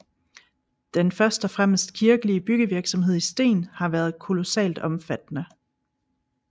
Den først og fremmest kirkelige byggevirksomhed i sten har været kolossalt omfattende